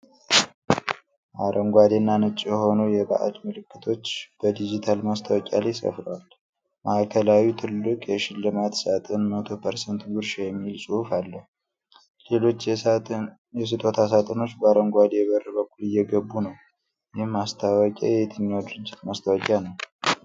አረንጓዴ እና ነጭ የሆኑ የበዓል ምልክቶች በዲጂታል ማስታወቂያ ላይ ሰፍረዋል። ማዕከላዊው ትልቅ የሽልማት ሳጥን "100% ጉርሻ" የሚል ጽሑፍ አለው፤ ሌሎች የስጦታ ሳጥኖች ከአረንጓዴ በር በኩል እየገቡ ነው። ይህ ማስታወቂያ የየትኛው ድርጅት ማስታወቂያ ነው?